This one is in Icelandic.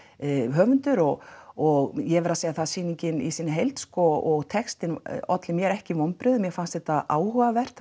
höfundur og og ég verð að segja það að sýningin í heild og textinn olli mér ekki vonbrigðum mér fannst þetta áhugavert